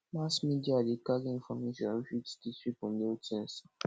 mass media dey carry information wey fit teach pipo new things